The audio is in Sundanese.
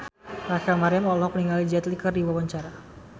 Rachel Maryam olohok ningali Jet Li keur diwawancara